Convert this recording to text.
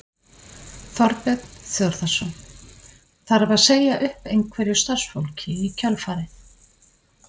Þorbjörn Þórðarson: Þarf að segja upp einhverju starfsfólki í kjölfarið?